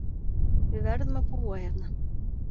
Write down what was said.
Við verðum að búa hérna